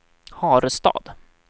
Harestad